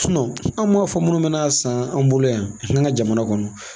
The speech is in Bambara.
an m'a fɔ minnu mana san, an bolo yan, an ga jamana kɔnɔ.